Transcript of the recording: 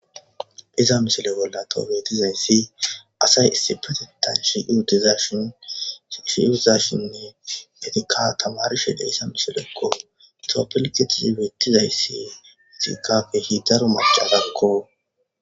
Iza misile bolla toobetizayssi asay issipatettan shashshiutizashinne etika tamarishide iza misilekko toppilketisi wiittizayssi etikkapehi daro macadakko.